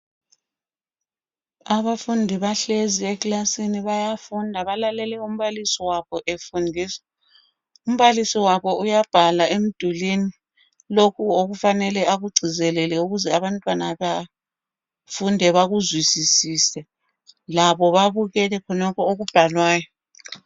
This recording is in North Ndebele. Abafundi bahlezi eklasini bayafunda. Balalele umbalisi wabo efundisa. Umbalisi wabo uyabhala emdulini lokhu okufanele akugcizelele ukuze abantwana bafunde bakuzwisisise. Labo babukele khonokho okubhalwayo.